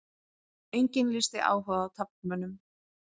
Enginn lýsti áhuga á taflmönnum